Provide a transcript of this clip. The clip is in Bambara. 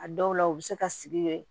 A dɔw la u bɛ se ka sigi yen